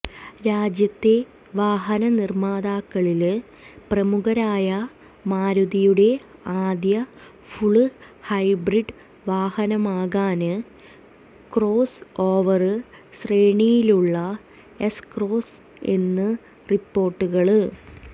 രാജ്യത്തെ വാഹനനിര്മ്മാതാക്കളില് പ്രമുഖരായ മാരുതിയുടെ ആദ്യ ഫുള് ഹൈബ്രിഡ് വാഹനമാകാന് ക്രോസ് ഓവര് ശ്രേണിയിലുള്ള എസ്ക്രോസ് എന്ന് റിപ്പോര്ട്ടുകള്